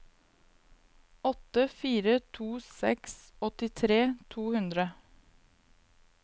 åtte fire to seks åttitre to hundre